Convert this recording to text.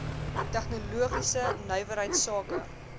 tegnologiese nywerheids sake